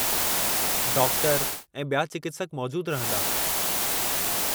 Doctor ऐं ॿिया चिकित्सक मौजूदु रहिंदा।